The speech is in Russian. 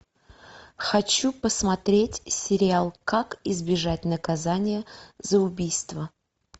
хочу посмотреть сериал как избежать наказания за убийство